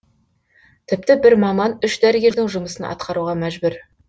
тіпті бір маман үш дәрігердің жұмысын атқаруға мәжбүр